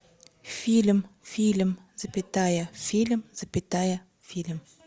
фильм фильм запятая фильм запятая фильм